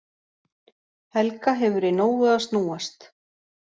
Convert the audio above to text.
Helga hefur í nógu að snúast